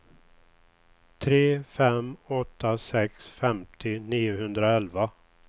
tre fem åtta sex femtio niohundraelva